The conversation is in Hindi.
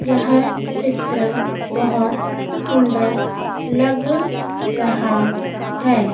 यह चित्र बहोत सुंदर लग रहा है।